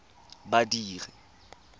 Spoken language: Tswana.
badiri